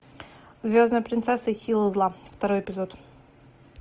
звездная принцесса и силы зла второй эпизод